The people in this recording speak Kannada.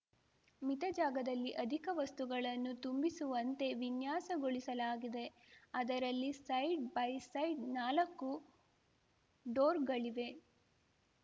ಮಿತ ಜಾಗದಲ್ಲಿ ಅಧಿಕ ವಸ್ತುಗಳನ್ನು ತುಂಬಿಸುವಂತೆ ವಿನ್ಯಾಸಗೊಳಿಸಲಾಗಿದೆ ಅದರಲ್ಲಿ ಸೈಡ್‌ಬೈಸೈಡ್‌ ನಾಲಕ್ಕು ಡೋರ್‌ಗಳಿವೆ